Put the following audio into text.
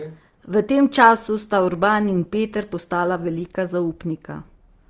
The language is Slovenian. V tem času sta Urban in Peter postala velika zaupnika.